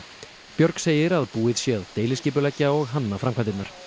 björg segir að búið sé að deiliskipuleggja og hanna framkvæmdirnar